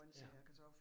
Ja